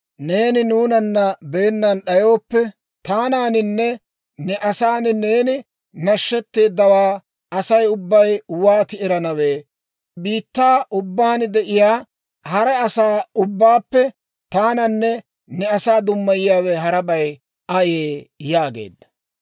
Neeni nuunana beennan d'ayooppe, taananinne ne asaani neeni nashetteeddawaa Asay ubbay wooti eranawe? Biittaa ubbaan de'iyaa hara asaa ubbaappe taananne ne asaa dummayiyaawe harabay ayee?» yaageedda.